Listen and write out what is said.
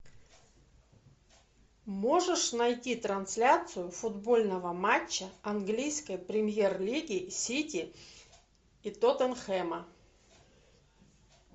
можешь найти трансляцию футбольного матча английской премьер лиги сити и тоттенхэма